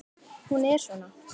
Hún er svona: